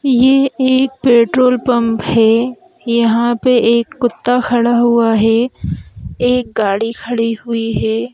ये एक petrol pump है यहां पे एक कुत्ता खड़ा हुआ है एक गाड़ी खड़ी हुई है।